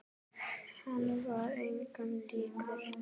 Hann var engum líkur.